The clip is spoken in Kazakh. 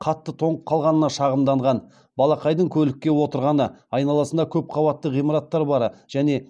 қатты тоңып қалғанына шағымданған балақайдың көлікке отырғаны айналасында көпқабатты ғимараттар бары және